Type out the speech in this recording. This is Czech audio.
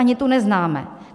Ani tu neznáme.